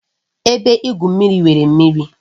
Ebe igwu mmiri nwere mmiri